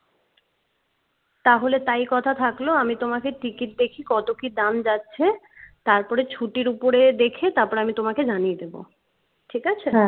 তাহলে তাই কথা থাকলো আমি তোমাকে টিকিট দেখি কত কি দাম যাচ্ছে তার পরই ছুটির উপরে দেখে তারপর আমি তোমাকে জানিয়ে দেবো ঠিক আছে?